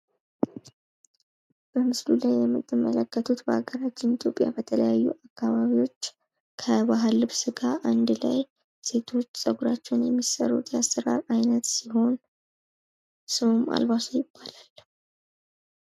በምስሉ ላይ የምትመለከቱት በሃገራችን ኢትዮጵያ በተለያዩ አካባቢዎች ከባህል ልብስ ጋር አንድ ላይ ሴቶች ጸጉራቸውን የሚሰሩት የአሰራር አይነት ሲሆን ፤ ስሙም አልባሶ ይባላል።